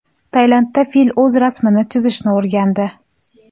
Tailandda fil o‘z rasmini chizishni o‘rgandi .